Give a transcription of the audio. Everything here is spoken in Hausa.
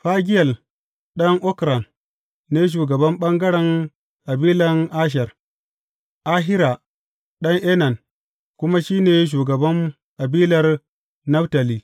Fagiyel ɗan Okran ne shugaban ɓangaren kabilan Asher, Ahira ɗan Enan kuma shi ne shugaban kabilar Naftali.